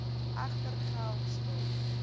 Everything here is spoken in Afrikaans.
egter geld skuld